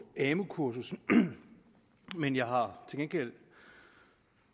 amu kursus men jeg har til gengæld